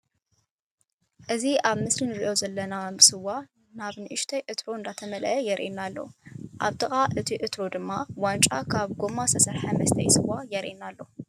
እዚ ኣብ ምስል እንሪኦ ዘለና ስዋ ናብ ንእሽተይ ዕትሮ እንዳተመለአ የርእየና ኣሎ። ኣብ ጥቃ እዩ ዕትሮ ድማ ዋንጫ ካብ ጎማ ዝተሰርሓ መስተይ ስዋ ይረአየና ኣሎ።